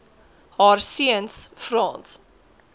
haar seuns frans